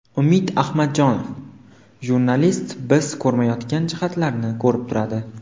Umid Ahmadjonov: Jurnalist biz ko‘rmayotgan jihatlarni ko‘rib turadi.